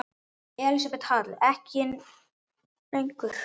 Elísabet Hall: En ekki lengur?